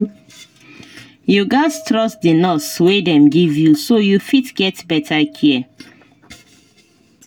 you gats trust the nurse wey dem give you so you fit get better care